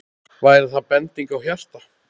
Væri það bending á hjarta?